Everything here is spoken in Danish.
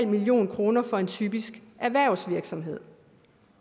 million kroner for en typisk erhvervsvirksomhed